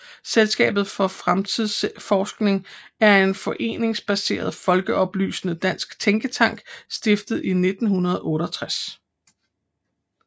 Selskabet for Fremtidsforskning er en foreningsbaseret folkeoplysende dansk tænketank stiftet i 1968